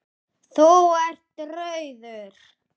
Þú ert rauður.